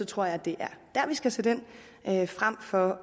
tror at det er der vi skal sætte ind frem for